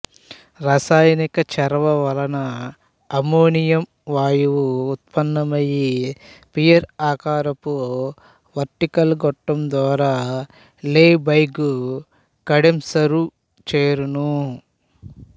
రసాయనిక చర్వ వలన అమ్మోనియం వాయువు ఉత్పన్నమై పియర్ ఆకారపు వెర్టికల్ గొట్టం ద్వారా లెబెగ్ కండెంసరు చేరును